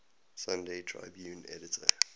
sunday tribune editor